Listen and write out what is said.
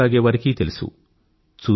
cigarette తాగేవారికీ తెలుసు